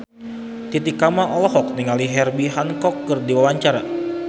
Titi Kamal olohok ningali Herbie Hancock keur diwawancara